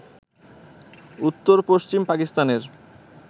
উত্তর পশ্চিম পাকিস্তানের